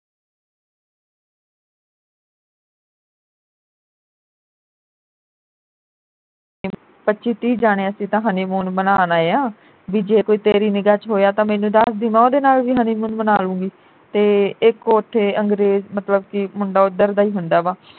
ਪੱਚੀ ਤੀਹ ਜਾਣੇ ਅਸੀਂ ਤਾਂ honeymoon ਮਨਾਨ ਆਏ ਆ ਬਈ ਜੇ ਕੋਈ ਤੇਰੀ ਨਿਗਾ ਵਿਚ ਹੋਇਆ ਤਾਂ ਮੈਨੂੰ ਦੱਸ ਦੀ ਮੈਂ ਉਹਦੇ ਨਾਲ ਵੀ honeymoon ਮਨਾ ਲੂੰ ਗੀ ਤੇ ਇਕ ਉਥੇ ਅੰਗਰੇਜ ਮਤਲਬ ਕਿ ਮੁੰਡਾ ਉਧਰ ਦਾ ਈ ਹੁੰਦਾ ਵਾਂ